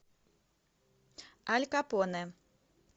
аль капоне